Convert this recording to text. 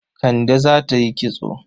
Kande za ta yi kitso.